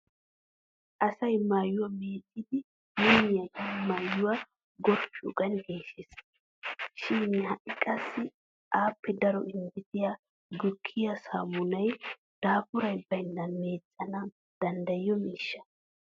Asay maayuwaa mecciiddi minniyaagan maayuwaa gorphphiyoogan geeshshes. Shin ha'i qassi aappe daro injjetiya gukkiyaa saammunay daafuri baynnan meeccana danddayiyo miishsha.